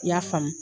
I y'a faamu